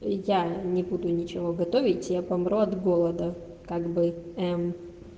я не буду ничего готовить я помру от голода как бы эм